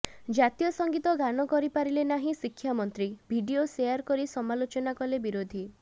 ଜାତୀୟ ସଙ୍ଗୀତ ଗାନ କରିପାରିଲେ ନାହିଁ ଶିକ୍ଷାମନ୍ତ୍ରୀ ଭିଡିଓ ସେୟାର କରି ସମାଲୋଚନା କଲେ ବିରୋଧୀ